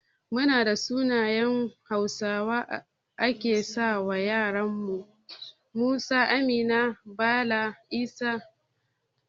Munada sunayen hausawa ake sawa ƴara kaman su, Musa, Amina, Bala, Ishaq da sauran su